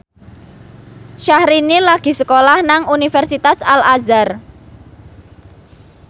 Syahrini lagi sekolah nang Universitas Al Azhar